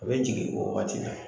U bɛ jigin o waati la.